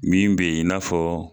Min bɛ yen n'a fɔ.